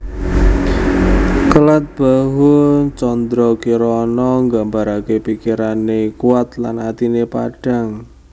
Kelat Bahu Candrakirana nggambarake pikirane kuat lan atine padhang